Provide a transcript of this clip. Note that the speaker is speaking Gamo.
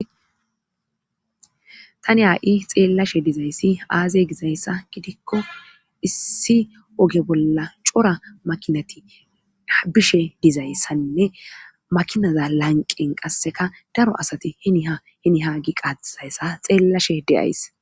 Tani haa7i xeellashe dizayssi aaze gizayssa gidikko issi oge bolla cora makinati bishe dizayssanne makinaza lanqen qasseka daro asati hiniha hini hagi qaizayssa xeellashe de7ays.